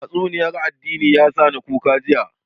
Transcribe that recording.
Tatsuniyar addini ya sa ni kuka jiya